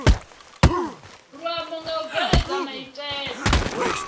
luambo nga u bveledza maitele